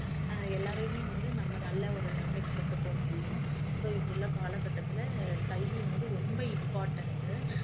அஹ் எல்லாரையுமே வந்து நம்ம நல்ல ஒரு நிலைமைக்கு கொண்டு போக முடியும் so இப்ப உள்ள காலகட்டத்தில கல்வி வந்து ரொம்ப important